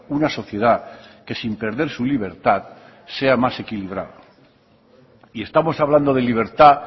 una sociedad que sin perder su libertad sea más equilibrada y estamos hablando de libertad